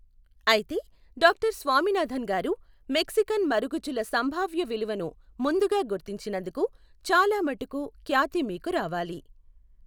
అయితే, డాక్టర్ స్వామినాథన్ గారు, మెక్సికన్ మరుగుజ్జుల సంభావ్య విలువను ముందుగా గుర్తించినందుకు చాలా మటుకు ఖ్యాతి మీకు రావాలి.